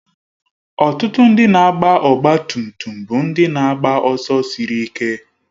Ọtụtụ ndị na-agba ọgbatumtum bụ ndị na-agba ọsọ siri ike